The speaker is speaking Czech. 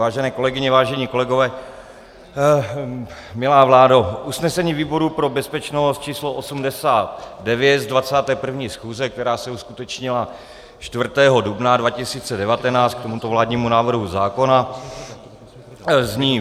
Vážené kolegyně, vážení kolegové, milá vládo, usnesení výboru pro bezpečnost č. 89 z 21. schůze, která se uskutečnila 4. dubna 2019 k tomuto vládnímu návrhu zákona, zní: